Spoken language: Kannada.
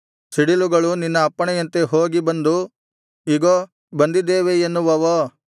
ಸಿಡಿಲುಗಳು ನಿನ್ನ ಅಪ್ಪಣೆಯಂತೆ ಹೋಗಿ ಬಂದು ಇಗೋ ಬಂದಿದ್ದೇವೆ ಎನ್ನುವವೋ